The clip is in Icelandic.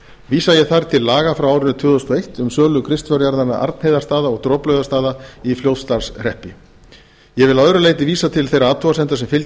vísa ég þar til laga frá árinu tvö þúsund og eitt um sölu kristfjárjarðanna arnheiðarstaða og droplaugarstaða í fljótsdalshreppi ég vil að öðru leyti vísa til þeirra athugasemda sem fylgja